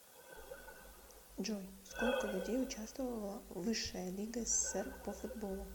джой сколько людей участвовало в высшая лига ссср по футболу